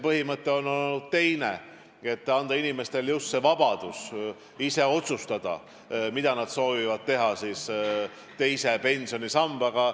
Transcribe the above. Põhimõte on olnud teine: anda inimestele vabadus ise otsustada, mida nad soovivad teha teise pensionisambaga.